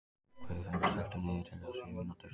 Guðfinna, stilltu niðurteljara á sjö mínútur.